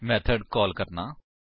method call ਕਰਨਾ